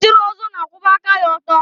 Onye chiri ọzọ na-akwụba aka ya ọtọ.